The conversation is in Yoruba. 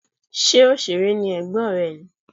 Ṣé òṣèré ni ẹ̀gbọ́n rẹ ni?